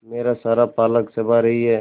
मेरा सारा पालक चबा रही है